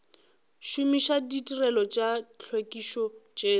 šomiša ditirelo tša tlhwekišo tšeo